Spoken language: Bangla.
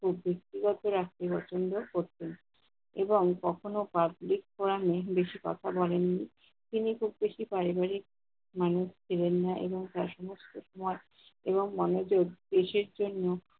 কখন। এবং, কখন publicforum এ বেশি কথা বলেননি। তিনি খুব বেশি পারিবারিক মানুষ ছিলেন না এবং তার সমস্ত সময় এবং মনোযোগ দেশের জন্য